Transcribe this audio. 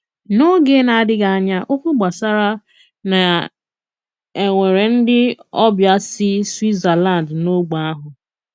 N’óge ná-àdị́ghị ányá, ókwú gbásárá ná é nwéré ndị ọbịa sí Swítzerlánd n’ógbè ahụ.